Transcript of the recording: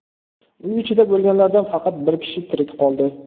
Uy ichida bo‘lganlardan faqat bir kishi tirik qoldi.